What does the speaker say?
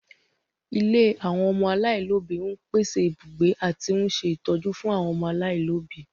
Ilé àwọn ọmọ aláìlóbi ń pèsè ibùgbé àti ń ṣe ìtọ́jú fún àwọn ọmọ aláìlóbi